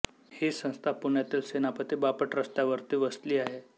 हि संस्था पुण्यातील सेनापती बापट रस्त्यावरती वसली आहे